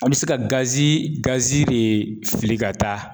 A bɛ se ka de fili ka taa.